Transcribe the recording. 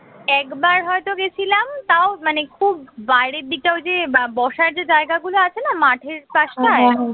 একবার হয়ত গেছিলাম তাও মানে খুব বাহিরের দিকটা ওই যে বা~ বসার যে জায়গাগুলো আছে না মাঠের পাশটায়